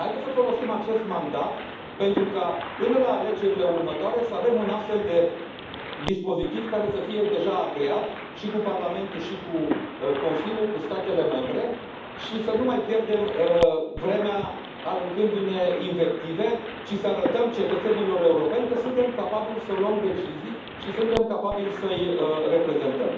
Haideți să folosim acest mandat pentru ca până la alegerile următoare să avem un astfel de dispozitiv care să fie deja agreat cu Parlamentul, cu Consiliul și cu statele membre și să nu mai pierdem vremea aruncându ne invective și să arătăm cetățenilor europeni că suntem capabili să luăm decizii și suntem capabili să îi reprezentăm!